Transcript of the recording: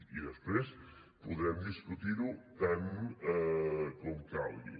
i després podrem discutir ho tant com calgui